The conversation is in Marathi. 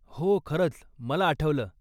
हो, खरंच. मला आठवलं.